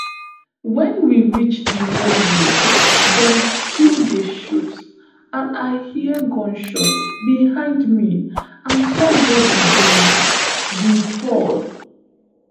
wen we reach di main road dem still dey shoot and i hear gunfire behind me and sombodi bin bin fall